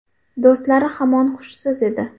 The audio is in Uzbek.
Do‘stlari hamon hushsiz edi.